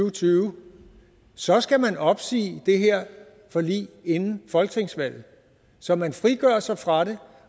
og tyve så skal man opsige det her forlig inden folketingsvalget så man frigør sig fra det